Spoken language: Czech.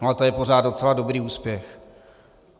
No a to je pořád docela dobrý úspěch.